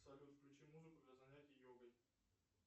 салют включи музыку для занятий йогой